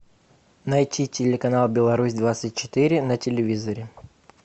найти телеканал беларусь двадцать четыре на телевизоре